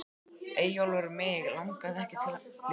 Eyjólfur Mig langaði ekki til að lifa.